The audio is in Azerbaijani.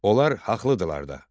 Onlar haqlıdırlar da.